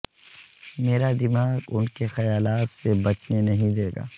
میرا دماغ ان کے خیالات سے بچنے نہیں دے گا